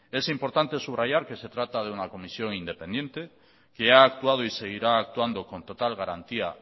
es importante subrayar que se trata de una comisión independiente que ha actuado y seguirá actuando con total garantía